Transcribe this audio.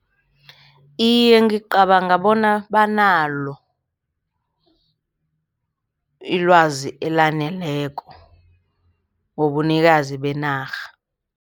Iye, ngicabanga bona banalo ilwazi elaneleko ngobunikazi benarha.